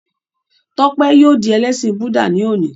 Tọ́pẹ́ yóò di ẹlẹ́sìn Búdà ní òní.